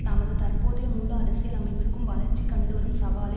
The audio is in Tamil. தமது தற்போதைய முழு அரசியல் அமைப்பிற்க்கும் வளர்ச்சி கண்டுவரும் சவாலை